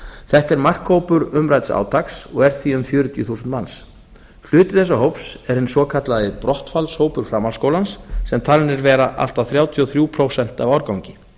þetta er markhópur umrædds átaks og er því um fjörutíu þúsund manns hluti þessa hóps er hinn svokallaði brottfallshópur framhaldsskólans sem talinn er vera allt að þrjátíu og þrjú prósent á árgangi